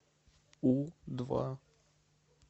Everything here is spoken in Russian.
у два